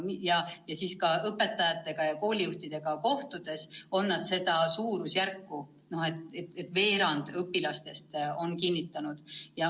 Kui ma olen õpetajate ja koolijuhtidega kohtunud, siis nad on öelnud, et veerand õpilastest on raskusi kinnitanud.